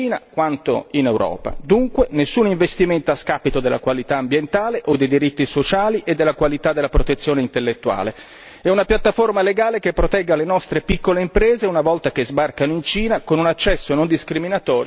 Dunque nessun investimento a scapito della qualità ambientale o dei diritti sociali e della qualità della protezione intellettuale e una piattaforma legale che protegga le nostre piccole imprese una volta che sbarcano in Cina con un accesso non discriminatorio e certezza del diritto.